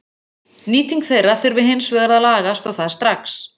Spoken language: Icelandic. Nýting þeirra þurfi hins vegar að lagast og það strax.